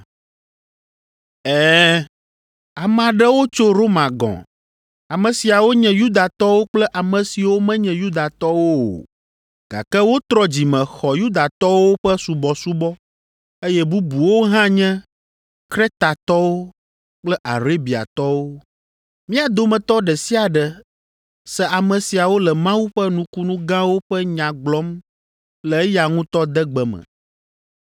Ɛ̃, ame aɖewo tso Roma gɔ̃. Ame siawo nye Yudatɔwo kple ame siwo menye Yudatɔwo o, gake wotrɔ dzime xɔ Yudatɔwo ƒe subɔsubɔ eye bubuwo hã nye Kretatɔwo kple Arabiatɔwo. Mía dometɔ ɖe sia ɖe se ame siawo le Mawu ƒe nukunu gãwo ƒe nya gblɔm le eya ŋutɔ degbe me!”